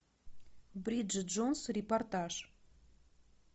бриджит джонс репортаж